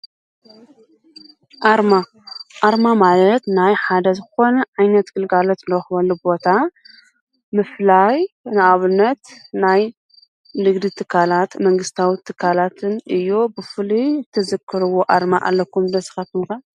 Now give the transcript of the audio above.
ኣርማ ማለት ናይ ሓደ ዝኮነ ዓይነት ግልጋሎት ንረክበሉ ቦታ ምፍላይ። ንኣብነት፦ ናይ ንግዲ ትካላት መንግስታዊ ትካላት እዩ። ብፉሉይ ትዝክርዎ ኣርማ ኣለኩም ዶ ንስኩም ከ?